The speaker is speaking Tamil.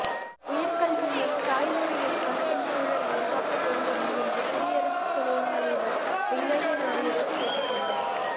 உயா் கல்வியை தாய்மொழியில் கற்கும் சூழலை உருவாக்க வேண்டும் என்று குடியரசுத் துணைத் தலைவா் வெங்கய்ய நாயுடு கேட்டுக் கொண்டாா்